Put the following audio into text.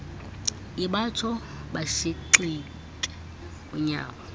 ibatsho bashikixe unyawo